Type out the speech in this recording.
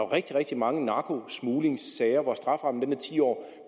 rigtig rigtig mange narkosmuglingssager hvor straframmen er ti år